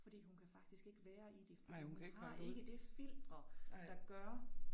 Fordi hun kan faktisk ikke være i det fordi hun har ikke det filtre der gør